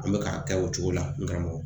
An bɛ ka kɛ o cogo la n karamɔgɔ